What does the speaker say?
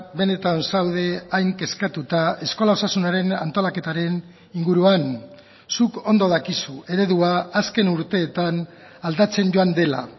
benetan zaude hain kezkatuta eskola osasunaren antolaketaren inguruan zuk ondo dakizu eredua azken urteetan aldatzen joan dela